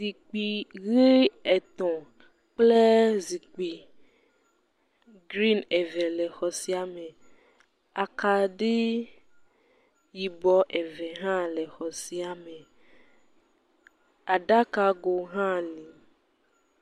Zikpui ʋi etɔ̃ kple zikpui grin eve le xɔ sia me. Akaɖii yibɔ eve hã le exɔ sia me. Aɖakago hã le.